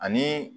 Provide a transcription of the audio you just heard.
Ani